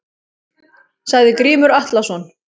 Sagði Grímur Atlason.